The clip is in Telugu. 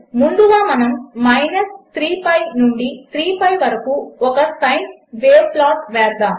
ముందుగా మనము మైనస్ 3 పిఐ నుండి 3 పిఐ వరకు ఒక సైన్ వేవ్ ప్లాట్ చేద్దాము